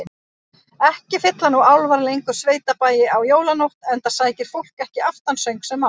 Ekki fylla nú álfar lengur sveitabæi á jólanótt, enda sækir fólk ekki aftansöng sem áður.